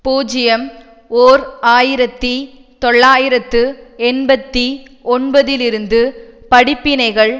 பூஜ்ஜியம் ஓர் ஆயிரத்தி தொள்ளாயிரத்து எண்பத்தி ஒன்பது இலிருந்து படிப்பினைகள்